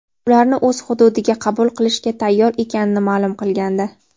ularni o‘z hududiga qabul qilishga tayyor ekanini ma’lum qilgandi.